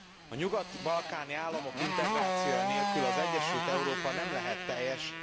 A nyugat balkáni államok integrációja nélkül az egyesült Európa nem lehet teljes.